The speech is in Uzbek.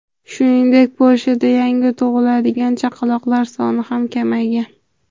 Shuningdek, Polshada yangi tug‘iladigan chaqaloqlar soni ham kamaygan.